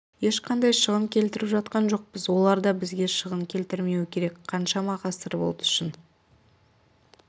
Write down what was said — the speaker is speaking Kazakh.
ешқандай шығын келтіріп жатқан жоқпыз олар да бізге шығын келтірмеуі керек қаншама ғасыр болды шын